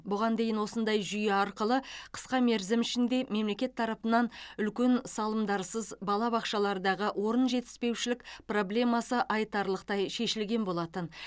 бұған дейін осындай жүйе арқылы қысқа мерзім ішінде мемлекет тарапынан үлкен салымдарсыз балабақшалардағы орын жетіспеушілік проблемасы айтарлықтай шешілген болатын